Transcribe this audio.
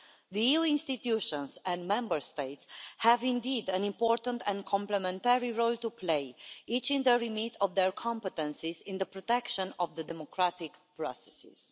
The EU institutions and Member States have indeed an important and complementary role to play, each in the remit of their competences in the protection of the democratic processes.